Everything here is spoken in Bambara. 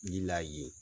Ni la ye